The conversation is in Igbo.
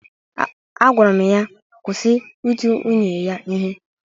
Agwara m ya kwụsị iti nwunye ya ihe!